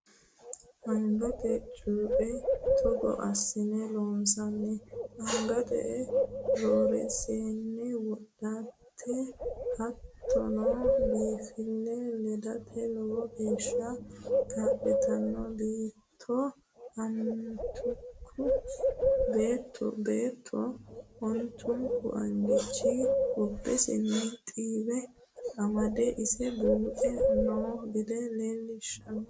Angate cue togo assine loonsanni angate rarasi'ne wodhate hattono biinfile ledate lowo geeshsha kaa'littano beetto ontuku angate qubbesinni xiiwe amade ise buuxani no gede leelishano.